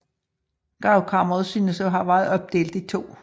Gravkammeret synes at have være opdelt i to